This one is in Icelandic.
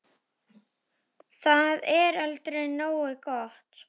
Það er aldrei nógu gott.